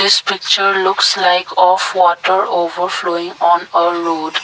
this picture looks like water over flowing on a road.